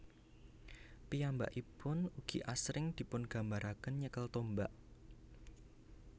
Piyambakipun ugi asring dipungambaraken nyekel tombak